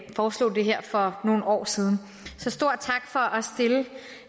foreslog det her for nogle år siden så stor tak for